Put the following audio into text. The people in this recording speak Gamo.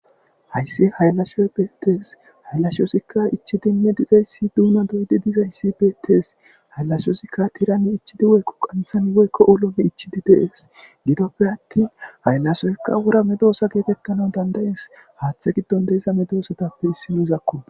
Hayssi hayllashioy beettees hayllashoosikka ichi dinme dizayssi duuma doydi dizayssi beettees hayllashyosikka tirani ichidi woykko qanthan woykko ulome ichidi deees gidoppe attin hayllasoykka wura medoosa geetekkana dandayees haaththe giddon deiza medoosatappe issi nuuzakko.